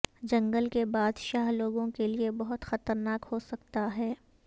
جنگل کے بادشاہ لوگوں کے لئے بہت خطرناک ہو سکتا ہے